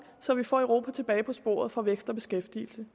så vi får europa tilbage på sporet for vækst og beskæftigelse